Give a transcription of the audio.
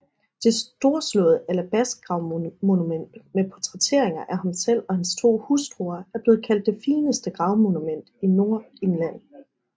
Det storslåede alabastgravmonument med portrætteringer af ham selv og hans to hustruer er blevet kaldt det fineste gravmonument i Nordengland